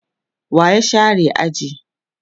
wa ya share aji?